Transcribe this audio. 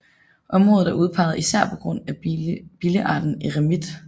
Området er udpeget især på grund af billearten eremit